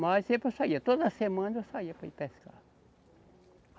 Mas sempre eu saía, toda semana eu saía para ir pescar.